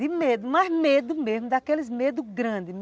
De medo, mas medo mesmo, daqueles medos grandes.